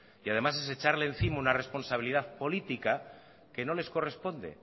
y además es echarle encima una responsabilidad política que no les corresponde